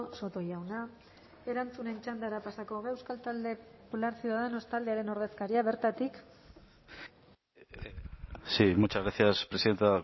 soto jauna erantzunen txandara pasako gara euskal talde popular ciudadanos taldearen ordezkaria bertatik sí muchas gracias presidenta